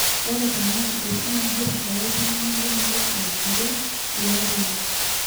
oo tenaa esimu egira olaitengeni lemurrua asirie ilairemok